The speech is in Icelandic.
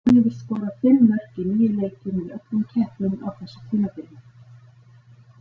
Hann hefur skorað fimm mörk í níu leikjum í öllum keppnum á þessu tímabili.